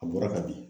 A bɔra ka bin